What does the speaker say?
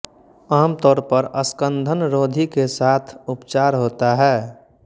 आमतौर पर स्कन्दनरोधी के साथ उपचार होता है